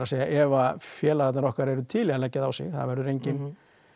ef félagarnir okkar eru til í að leggja það á sig það verður enginn